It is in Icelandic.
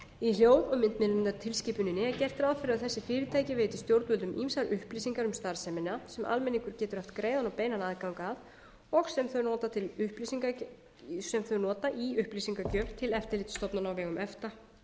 hljóð og myndmiðlunartilskipuninni er gert ráð fyrir að þessi fyrirtæki veiti stjórnvöldum ýmsar upplýsingar um starfsemina sem almenningur getur haft greiðan og beinan aðgang að og sem þau nota í upplýsingagjöf til eftirlitsstofnana á vegum efta